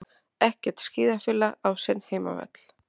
Ekkert skíðafélag á sinn heimavöll